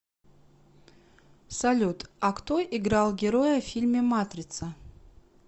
салют а кто играл героя в фильме матрица